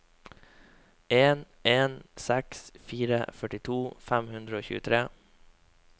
en en seks fire førtito fem hundre og tjuetre